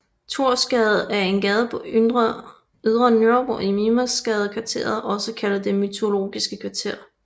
Thorsgade er en gade på Ydre Nørrebro i Mimersgadekvarteret også kaldet Det mytologiske kvarter